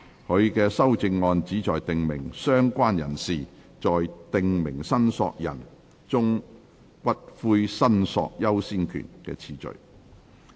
他的修正案旨在訂明"相關人士"在"訂明申索人"中骨灰申索優先權的次序。